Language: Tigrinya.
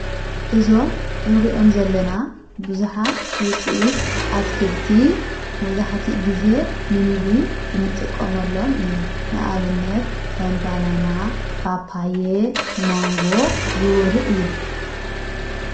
እዞም እንሪዮም ዘለና ብዙኃት ውፅኢት ኣትክልቲ መዙኃቲ ጊዜ ንሚጕ እንጥቆም ኣሎም ኢና ንኣብነት ከምባናና ባጳየ መንጎ ዝበሉ እዮም።